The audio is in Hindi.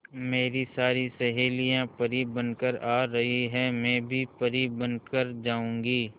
मेरी सारी सहेलियां परी बनकर आ रही है मैं भी परी बन कर जाऊंगी